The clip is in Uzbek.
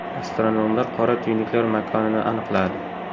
Astronomlar qora tuynuklar makonini aniqladi.